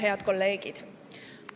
Head kolleegid!